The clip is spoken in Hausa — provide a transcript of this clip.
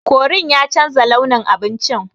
Korin ya chanza launin abincin.